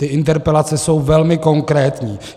Ty interpelace jsou velmi konkrétní.